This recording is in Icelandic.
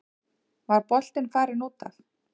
Var boltinn farinn út af?